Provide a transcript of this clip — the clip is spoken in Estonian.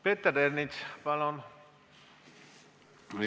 Peeter Ernits, palun!